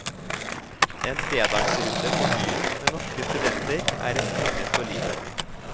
En fredagsrunde på byen med norske studenter er et minne for livet.